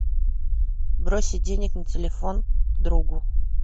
бросить денег на телефон другу